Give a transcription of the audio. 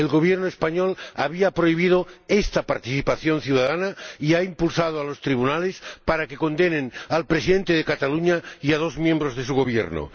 El Gobierno español había prohibido esta participación ciudadana y ha impulsado a los tribunales para que condenen al Presidente de Cataluña y a dos miembros de su Gobierno.